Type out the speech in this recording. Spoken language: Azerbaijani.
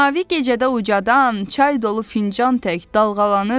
Mavi gecədə ucadan, çay dolu fincan tək dalğalanırsan.